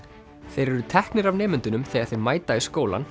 þeir eru teknir af nemendunum þegar þeir mæta í skólann